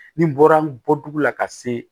Ni bɔra bɔtugu la ka se